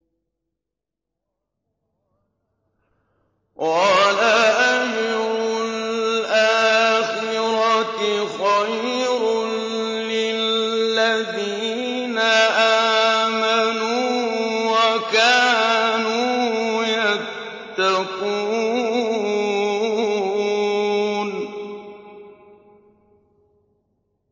وَلَأَجْرُ الْآخِرَةِ خَيْرٌ لِّلَّذِينَ آمَنُوا وَكَانُوا يَتَّقُونَ